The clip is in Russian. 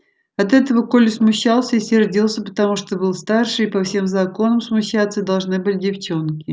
от этого коля смущался и сердился потому что был старше и по всем законам смущаться должны были девчонки